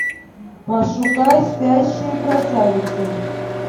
пошукай спящие красавицы